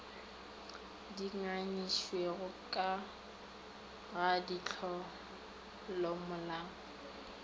di nyakišišitšwego ka ga ditlolomolao